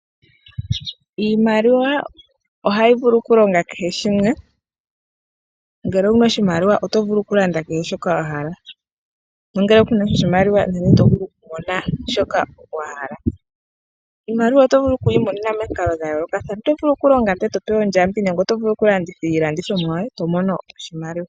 Iimaliwa oha yi vulu oku longa kehe shimwe. Ngele owuna oshimaliwa oto vulu okulanda kehe shoka wa hala, nongele kunasha oshimaliwa ito vulu oku landa kehe shoka wa hala. Iimaliwa oto vulu oku yi mona momikalo dha yoolokathana, oto vulu oku longa ee to pewa ondjambi nenge oto vulu okulanditha iilandithomwa yoye ee to mono oshimaliwa.